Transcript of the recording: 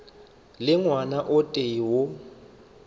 le ngwana o tee yo